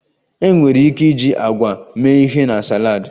Enwere ike iji agwa mee ihe na saladi